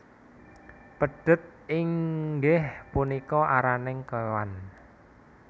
Pedhet inggih punika araning kewan